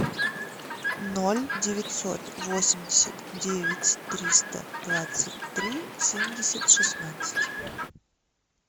ноль девятьсот восемьдесят девять триста двадцать три семьдесят шестнадцать